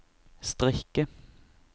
strikke